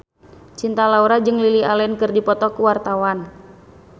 Cinta Laura jeung Lily Allen keur dipoto ku wartawan